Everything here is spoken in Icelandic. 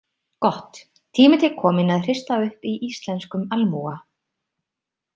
Gott, tími til kominn að hrista upp í íslenskum almúga